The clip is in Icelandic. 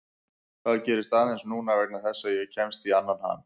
Það gerist aðeins núna vegna þess að ég kemst í annan ham.